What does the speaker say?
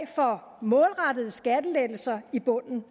for målrettede skattelettelser i bunden